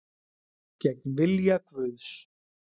Gegn vilja Guðs